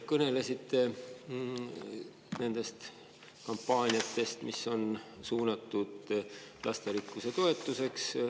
Kõnelesite nendest kampaaniatest, mis on suunatud lasterikkuse toetuseks.